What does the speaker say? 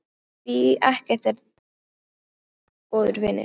Því ekkert er eins dýrmætt og góðir vinir.